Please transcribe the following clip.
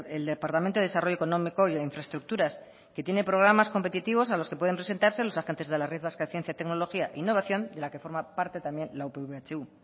el departamento de desarrollo económico y de infraestructuras que tiene programas competitivos a los que pueden presentarse los agentes de la red vasca de ciencia y tecnología e innovación de la que forma parte también la upv ehu